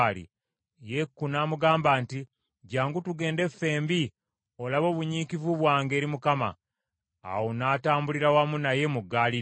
Yeeku n’amugamba nti, “Jjangu tugende ffembi olabe obunyiikivu bwange eri Mukama .” Awo n’atambulira wamu naye mu ggaali lye.